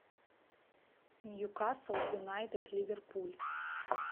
ньюкасл юнайтед ливерпуль